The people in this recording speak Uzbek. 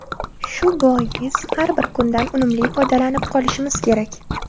Shu bois har bir kundan unumli foydalanib qolishimiz kerak.